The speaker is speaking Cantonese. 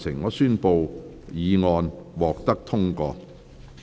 我宣布議案獲得通過。